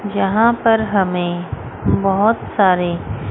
जहां पर हमें बोहोत सारे--